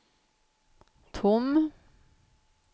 tom